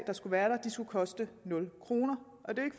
der skulle være der skulle koste nul kroner